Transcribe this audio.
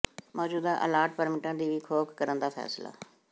ਮੌਜੂਦਾ ਅਲਾਟ ਪਰਮਿਟਾਂ ਦੀ ਵੀ ਘੋਖ ਕਰਨ ਦਾ ਫ਼ੈਸਲਾ